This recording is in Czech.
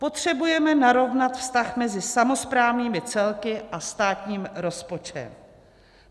Potřebujeme narovnat vztah mezi samosprávnými celky a státním rozpočtem.